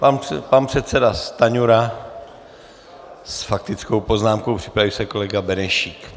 Pan předseda Stanjura s faktickou poznámkou, připraví se kolega Benešík.